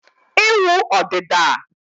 ịwụ ọdịda